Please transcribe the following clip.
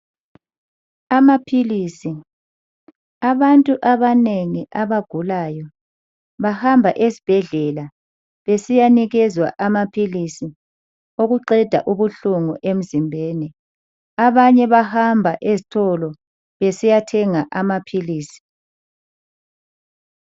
Amaphilisi abantu abanengi abagulayo bahamba esibhedlela besiyanikezwa amaphilisi okuqeda ubuhlungu emzimbeni, abanye bahamba ezitolo besiyathenga amaphilisi.